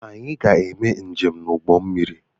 Anyị ga-eme njem n'ụgbọ mmiri.